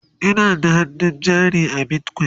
Ina da hannun jari a bitcoin